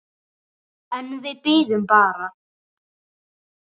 En við biðum bara.